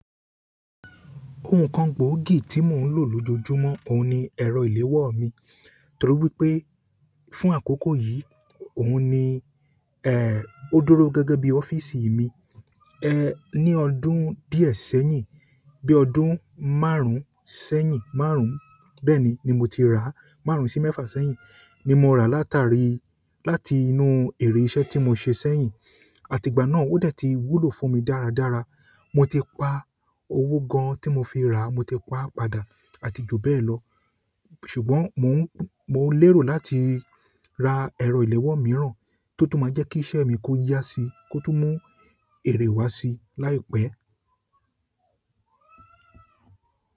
Ohun kan gbòógì tí mò ń lò lójoojúmọ́, òun ni ẹ̀rọ ìléwọ́ mi. Torí wípé fún àkókò yìí, òun ni, ó dúró gẹ́gẹ́ bí ọ́fíìsì mi. Ní ọdún díẹ̀ sẹ́yìn, bí ọdún márùn-ún sẹ́yìn, márùn-ún bẹ́ẹ̀ni ni mo ti rà á. Márùn-ún sí mẹ́fà sẹ́yìn ni mo rà á látàrí láti inú ère iṣẹ́ tí mo ṣe sẹ́yìn. Àti gba na o dẹ ti wúlò fún mi dáradára. Mo ti pa owó gan-an tí mo fi rà á, mo ti pa padà àti jù bẹ́ẹ̀ lọ. Ṣùgbọ́n mò ń, mò ń lérò láti ra ẹ̀rọ ìléwọ́ mìíràn tó tún máa jẹ́ kí iṣẹ́ mi kó yá sí i, kó tún mú èrè wá sí i láìpẹ́.